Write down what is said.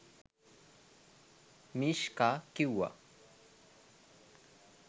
Mishka කිවුවා.